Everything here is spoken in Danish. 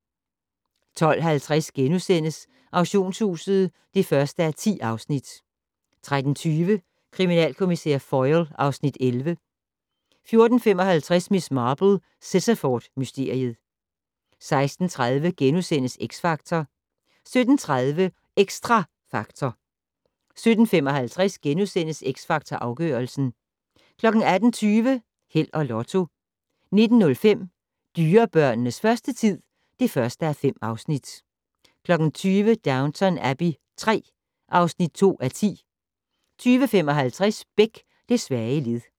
12:50: Auktionshuset (1:10)* 13:20: Kriminalkommissær Foyle (Afs. 11) 14:55: Miss Marple: Sittaford mysteriet 16:30: X Factor * 17:30: Xtra Factor 17:55: X Factor Afgørelsen * 18:20: Held og Lotto 19:05: Dyrebørnenes første tid (1:5) 20:00: Downton Abbey III (2:10) 20:55: Beck: Det svage led